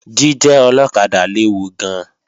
Jíjẹ́ ọlọ́kadà léwu gan-an